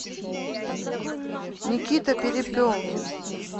никита перепелкин